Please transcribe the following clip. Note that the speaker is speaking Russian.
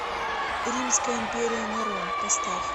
римская империя нерон поставь